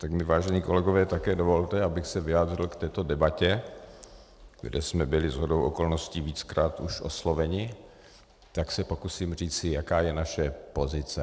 Tak mi, vážení kolegové, také dovolte, abych se vyjádřil k této debatě, kde jsme byli shodou okolností víckrát už osloveni, tak se pokusím říci, jaká je naše pozice.